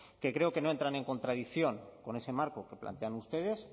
que creo que no entran en contradicción con ese marco que plantean ustedes